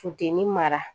Funteni mara